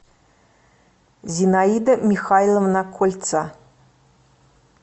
зинаида михайловна кольца